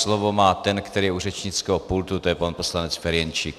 Slovo má ten, který je u řečnického pultu, to je pan poslanec Ferjenčík.